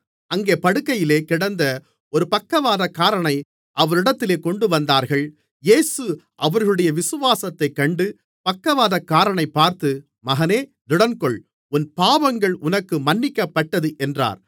அங்கே படுக்கையிலே கிடந்த ஒரு பக்கவாதக்காரனை அவரிடத்தில் கொண்டுவந்தார்கள் இயேசு அவர்களுடைய விசுவாசத்தைக் கண்டு பக்கவாதக்காரனைப் பார்த்து மகனே திடன்கொள் உன் பாவங்கள் உனக்கு மன்னிக்கப்பட்டது என்றார்